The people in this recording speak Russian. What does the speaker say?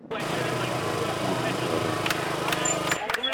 зеленоградом